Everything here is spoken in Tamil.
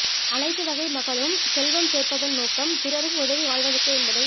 அனைத்து வகை மக்களும் செல்வம் சேர்ப்பதன்நோக்கம் பிறருக்கு உதவி வாழ்வதற்கே என்பதை